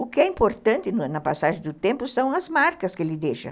O que é importante na passagem do tempo são as marcas que ele deixa.